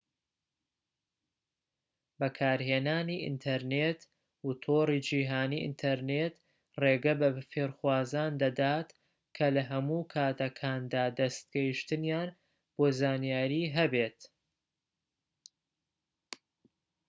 بەکارهێنانی ئینتەرنێت و تۆڕی جیهانی ئینتەرنێت ڕێگە بە فێرخوازان دەدات کە لە هەموو کاتەکاندا دەستگەیشتنیان بۆ زانیاری هەبێت